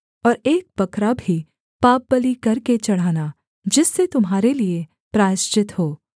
और एक बकरा भी पापबलि करके चढ़ाना जिससे तुम्हारे लिये प्रायश्चित हो